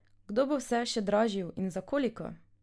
Kdo bo vse še dražil in za koliko?